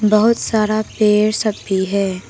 बहुत सारा पेड़ सब भी है।